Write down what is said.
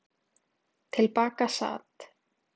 Til baka sat